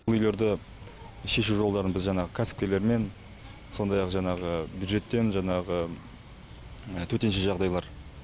бұл үйлерді шешу жолдарын біз жаңағы кәсіпкерлермен сондай ақ жаңағы бюджеттен жаңағы төтенше жағдайлар